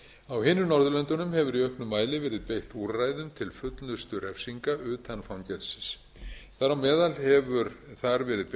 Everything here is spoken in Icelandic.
á hinum norðurlöndunum hefur í auknum mæli verið beitt úrræðum til fullnustu refsingar utan fangelsis þar á meðal hefur þar verið beitt